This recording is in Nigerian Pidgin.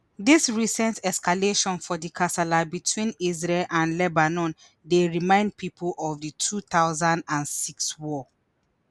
dis recent escalation for di kasala between israel and lebanon dey remind pipo of di two thousand and six war